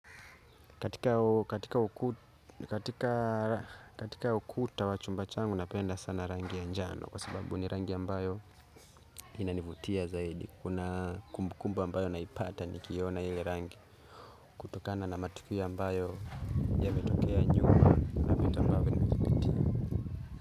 Katika ukuta wa chumba changu napenda sana rangi ya njano kwa sababu ni rangi ambayo inanivutia zaidi. Kuna kumbu kumbu ambayo naipata ni kiona ile rangi kutokana na matukio ambayo yametokea nyuma.